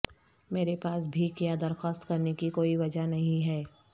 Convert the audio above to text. میرے پاس بھیک یا درخواست کرنے کی کوئی وجہ نہیں ہے